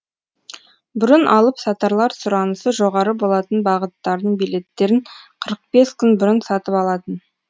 бұрын алып сатарлар сұранысы жоғары болатын бағыттардың билеттерін қырық бес күн бұрын сатып алатын